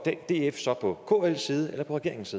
df så på kls side eller på regeringens